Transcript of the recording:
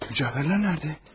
Cəvahirlər nədə?